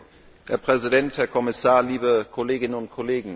Herr Präsident, Herr Kommissar, liebe Kolleginnen und Kollegen!